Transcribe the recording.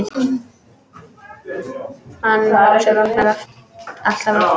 Hann Lási vaknar alltaf aftur.